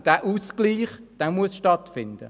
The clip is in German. Dieser Ausgleich muss stattfinden.